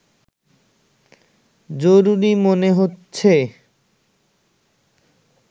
জরুরি মনে হচ্ছে